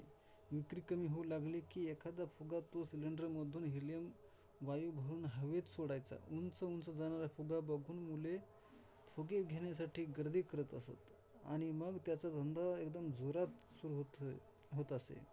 विक्री कमी होऊ लागली कि, एखादा फुगा तो Cylinder मधून Helium वायू हवेत सोडायचा उंच-उंच जाणारा फुगा बघून मुले फुगे घेण्यासाठी गर्दी करत असत आणि मग त्याचा धंदा एकदम जोरात सुरु होत असे होत असे.